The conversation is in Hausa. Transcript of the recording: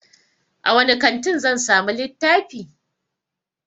A wani kantin zan samu littafi?